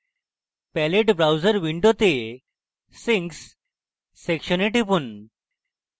palette browser window sinks সেকশনে টিপুন